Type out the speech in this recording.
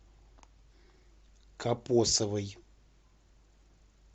копосовой